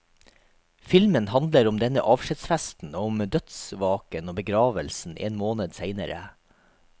Filmen handler om denne avskjedsfesten og om dødsvaken og begravelsen en måned senere.